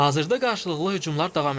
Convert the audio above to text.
Hazırda qarşılıqlı hücumlar davam edir.